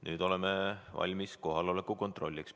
Nüüd oleme valmis kohaloleku kontrolliks.